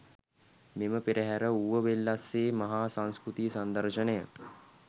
මෙම පෙරහර ඌවවෙල්ලස්සේ මහා සංස්කෘතික සංදර්ශනය